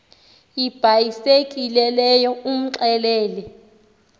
ibhayisekile leyo umxelele